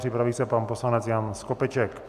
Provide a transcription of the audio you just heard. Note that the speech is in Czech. Připraví se pan poslanec Jan Skopeček.